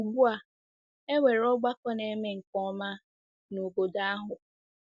Ugbu a, e nwere ọgbakọ na-eme nke ọma n’obodo ahụ.